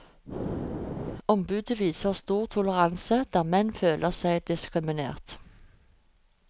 Ombudet viser stor toleranse der menn føler seg diskriminert.